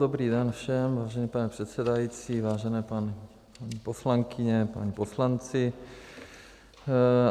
Dobrý den všem, vážený pane předsedající, vážené paní poslankyně, páni poslanci.